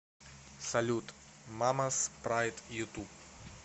салют мамас прайд ютуб